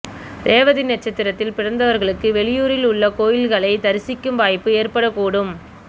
ரேவதி நட்சத்திரத்தில் பிறந்தவர்களுக்கு வெளியூரில் உள்ள கோயில்களை தரிசிக்கும் வாய்ப்பு ஏற்படக்கூடும்